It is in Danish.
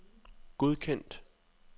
godkendt